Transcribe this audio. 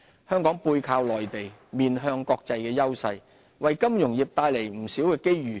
香港"背靠內地，面向國際"的優勢，為金融業帶來了不少機遇。